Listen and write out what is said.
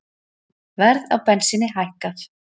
Verð á bensíni hækkað